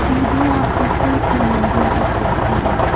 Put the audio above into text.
सीढ़ियां ऊपर के मंजिल तक जाती है।